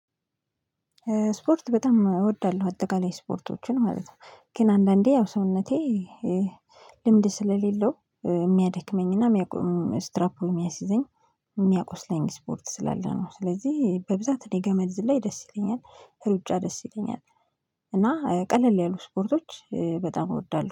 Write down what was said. ስፖርት በጣም እወዳለሁ አጠቃላይ ስፖርቶችን ማለት ነው። ግን አንዳንዴ ያው ሰውነቴ ልምድ ስለሌለው የሚያደክመኝና የሚያቆም ስትራፕ የሚያሲዘኝ የሚያቆስለኝ ስፖርት ስላለ ነው። ስለዚህ በብዛት እኔ ገመድ ዝላይ ደስ ይለኛል ሩጫ ደስ ይለኛል። እና ቀለል ያሉ ስፖርቶች በጣም እወዳለሁ